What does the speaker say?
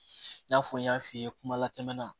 I n'a fɔ n y'a f'i ye kuma la tɛmɛna